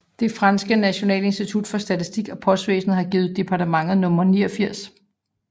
Det franske nationale institut for statistik og postvæsnet har givet departementet nummer 89